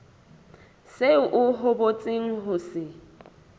seo o hopotseng ho se